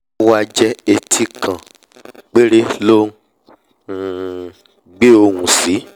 ówá jẹ́ etí kan péré ló um ngbé ohùn sí